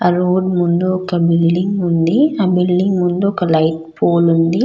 Road ముందు building ఉంది ఆ బిల్డింగ్ ముందు లైట్ పోల్ ఉంది.